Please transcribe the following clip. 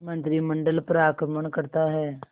मंत्रिमंडल पर आक्रमण करता है